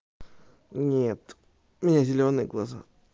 нет у меня зелёные глаза